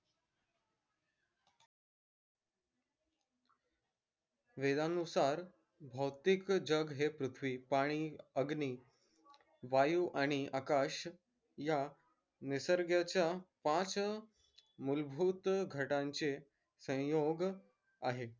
वेदानुसार भौतिक जग हे पृथ्वी पानी अग्नि वायु आणि आकाश या निसर्गाच्या पाच मूलभूत घटांचे संयोग आहे